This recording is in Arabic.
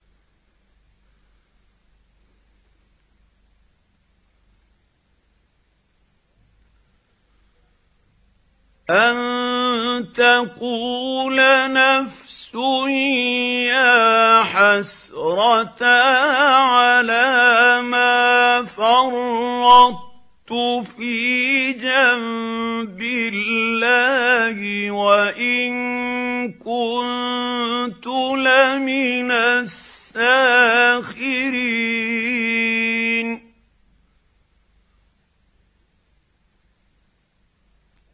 أَن تَقُولَ نَفْسٌ يَا حَسْرَتَا عَلَىٰ مَا فَرَّطتُ فِي جَنبِ اللَّهِ وَإِن كُنتُ لَمِنَ السَّاخِرِينَ